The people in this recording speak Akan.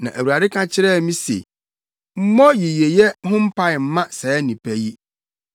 Na Awurade ka kyerɛɛ me se, “Mmɔ yiyeyɛ ho mpae mma saa nnipa yi.